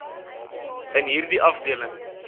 in hierdie afdeling